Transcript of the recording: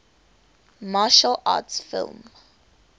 martial arts film